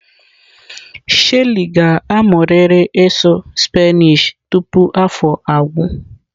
Shelly ga-amụrịrị ịsụ Spanish tupu afọ agwụ.